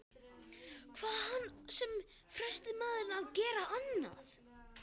Hvað átti hann sem fremsti maður að gera annað?